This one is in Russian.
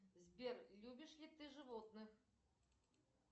сбер любишь ли ты животных